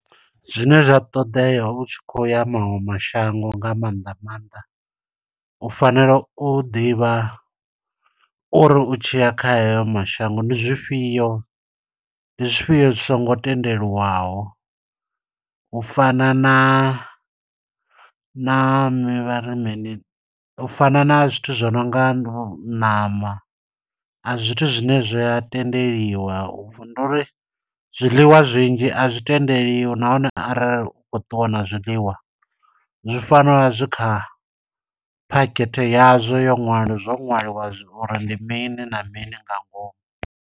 Zwine zwi a ṱoḓea u tshi khou ya maṅwe mashango nga maanḓa maanḓa. U fanela u ḓivha uri u tshiya kha heyo mashango, ndi zwifhio, ndi zwifhio zwi songo tendeliwaho. U fana na, na mi vhari mini, u fana na zwithu zwo no nga ṋama, a si zwithu zwine zwi a tendeliwa. Ndi uri zwiḽiwa zwinzhi a zwi tendeliwi, nahone arali u khou ṱuwa na zwiḽiwa, zwi fanela u vha zwi kha phakhethe yazwo. Yo ṅwali zwo ṅwaliwa uri ndi mini na mini nga ngomu.